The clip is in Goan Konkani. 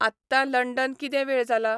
आत्तां लंडन किदें वेळ जाला ?